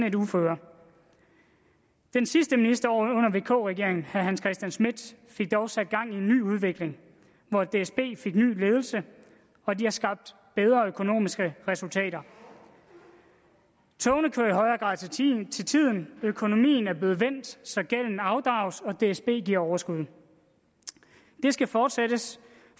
et uføre den sidste minister under vk regeringen herre hans christian schmidt fik dog sat gang i en ny udvikling hvor dsb fik ny ledelse og de har skabt bedre økonomiske resultater togene kører i højere grad til tiden til tiden økonomien er blevet vendt så gælden afdrages og dsb giver overskud det skal fortsættes